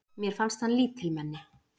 Mér fannst hann lítilmenni.